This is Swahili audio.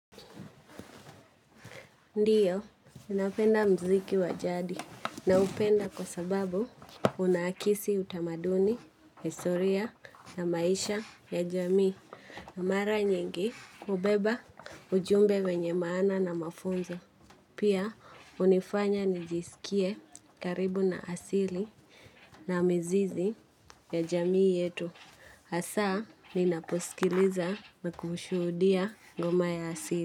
Ndiyo, ninapenda mziki wa jadi naupenda kwa sababu unaakisi utamaduni, historia na maisha ya jamii. Na mara nyingi hubeba ujumbe wenye maana na mafunzo. Pia, hunifanya nijisikie karibu na asili na mizizi ya jamii yetu. Asa, ninaposikiliza na kushuhudia ngoma ya asili.